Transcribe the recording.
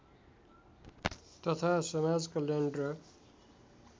तथा समाजकल्याण र